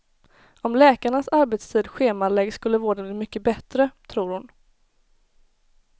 Om läkarnas arbetstid schemaläggs skulle vården bli mycket bättre, tror hon.